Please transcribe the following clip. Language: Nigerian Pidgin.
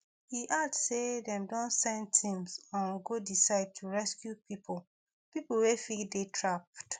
e add say dem don send teams um go di site to rescue pipo pipo wey fit dey trapped